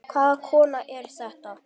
Hvaða kona er þetta?